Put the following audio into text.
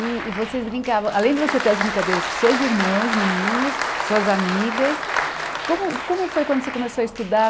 E e vocês brincavam, além de você ter as brincadeiras com seus irmãos, meninos, suas amigas, como como foi quando você começou a estudar?